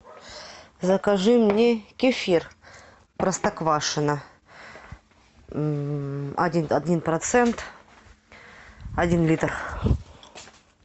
закажи мне кефир простоквашино один процент один литр